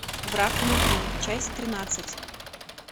враг внутри часть тринадцать